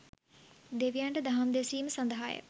දෙවියන්ට දහම් දෙසීම සඳහාය